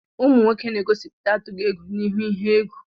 Ụmụ nwoke na-egosipụta atughị egwu n'ihu ihe egwù.